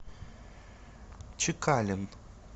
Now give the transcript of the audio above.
чекалин